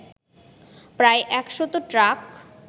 প্রায় একশত ট্রাক